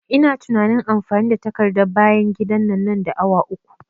Ina tunain amfani da takardar bayan gida nan da awa uku